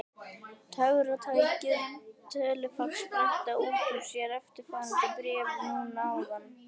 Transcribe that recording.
Töfratækið telefax prentaði út úr sér eftirfarandi bréf núna áðan.